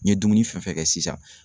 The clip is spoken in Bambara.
N ye dumuni fɛn fɛn kɛ sisan